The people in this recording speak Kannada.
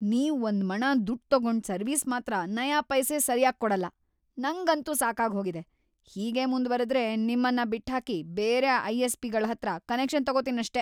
ನೀವ್‌ ಒಂದ್ಮಣ ದುಡ್ಡ್‌ ತಗೊಂಡ್‌ ಸರ್ವಿಸ್‌ ಮಾತ್ರ ನಯಾಪೈಸೆ ಸರ್ಯಾಗ್‌ ಕೊಡಲ್ಲ, ನಂಗಂತೂ ಸಾಕಾಗ್ಹೋಗಿದೆ, ಹೀಗೇ ಮುಂದ್ವರೆದ್ರೆ ನಿಮ್ಮನ್ನ ಬಿಟ್ಹಾಕಿ ಬೇರೆ ಐ.ಎಸ್.ಪಿ.ಗಳ್ಹತ್ರ ಕನೆಕ್ಷನ್ ತಗೊತೀನಷ್ಟೇ.